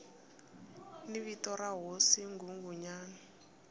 ni vito ra hosi nghunghunyana